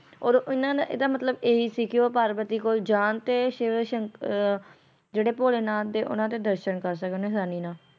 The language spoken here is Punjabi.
ਓਦੋ ਇਹਨਾਂ ਦਾ ਇਹਦਾ ਮਤਲਬ ਇਹੀ ਸੀ ਕੇ ਉਹ ਪਾਰਵਤੀ ਕੋਲ ਜਾਣ ਤੇ ਸ਼ਿਵ ਸ਼ੰਕ ਅਹ ਜਿਹੜੇ ਭੋਲੇ ਨਾਥ ਦੇ ਓਹਨਾ ਦੇ ਦਰਸ਼ਨ ਕਰ ਸਕਣ ਆਸਾਨੀ ਨਾਲ